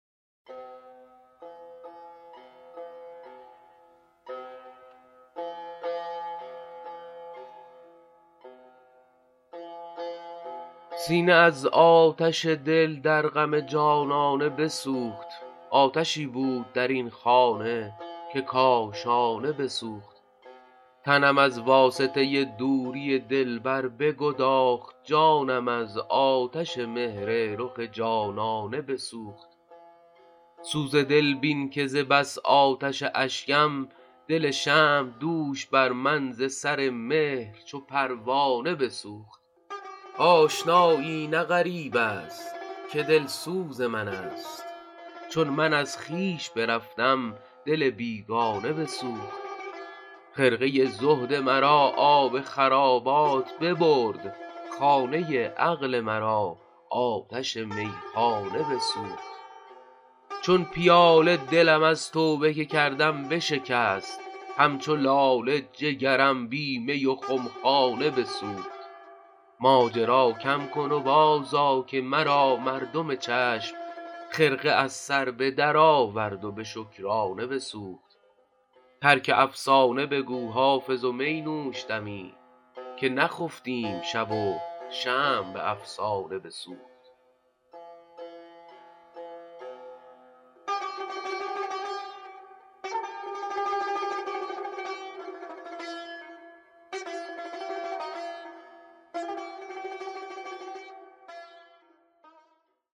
سینه از آتش دل در غم جانانه بسوخت آتشی بود در این خانه که کاشانه بسوخت تنم از واسطه دوری دلبر بگداخت جانم از آتش مهر رخ جانانه بسوخت سوز دل بین که ز بس آتش اشکم دل شمع دوش بر من ز سر مهر چو پروانه بسوخت آشنایی نه غریب است که دلسوز من است چون من از خویش برفتم دل بیگانه بسوخت خرقه زهد مرا آب خرابات ببرد خانه عقل مرا آتش میخانه بسوخت چون پیاله دلم از توبه که کردم بشکست همچو لاله جگرم بی می و خمخانه بسوخت ماجرا کم کن و بازآ که مرا مردم چشم خرقه از سر به درآورد و به شکرانه بسوخت ترک افسانه بگو حافظ و می نوش دمی که نخفتیم شب و شمع به افسانه بسوخت